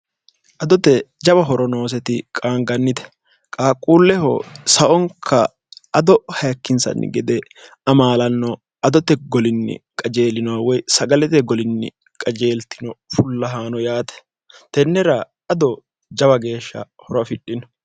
adote jawa horonooseti qaangannite qaaqquulleho saonka ado haikkinsanni gede amaalanno adote golinni qajeelino woy sagalete golinni qajeeltino fullahaano yaate tennera ado jawa geeshsha horo afidhino